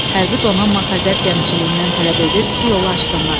Hərbi donanma Xəzər Gəmiçiliyindən tələb edirdi ki, yolu açsınlar.